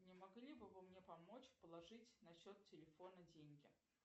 не могли бы вы мне помочь положить на счет телефона деньги